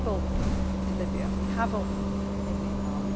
important. We have opened in Libya we have opened